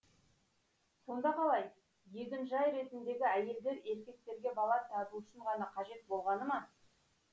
сонда қалай егінжай ретіндегі әйелдер еркектерге бала табу үшін ғана қажет болғаны ма